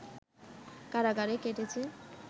কারাগারে কেটেছে